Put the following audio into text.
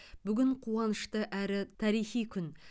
бүгін қуанышты әрі тарихи күн